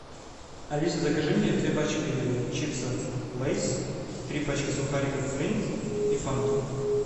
алиса закажи мне две пачки чипсов лейс три пачки сухариков флинт и фанту